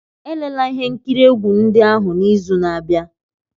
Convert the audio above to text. Elela ihe nkiri egwu ndị ahụ n'izu na-abịa!